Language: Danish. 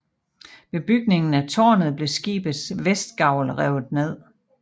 Ved bygningen af târnet blev skibets vestgavl revet ned